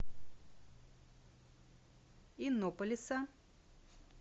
иннополиса